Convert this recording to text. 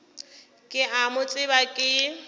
ke a mo tseba ke